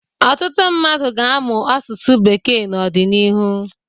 Ọtụtụ mmadụ ga-amụ asụsụ bekee n’ọdịnihu